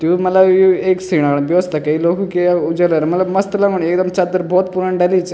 तु यु मलब यु एक सीणा क व्यवस्था कईं लोगों की अर ऊ जदर मलब मस्त लगणु एकदम चद्दर भौत पुरणी डली च।